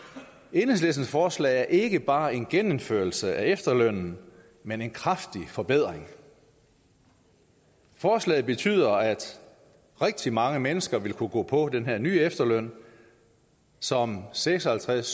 enhedslistens forslag er ikke bare en genindførelse af efterlønnen men en kraftig forbedring forslaget betyder at rigtig mange mennesker vil kunne gå på den her nye efterløn som seks og halvtreds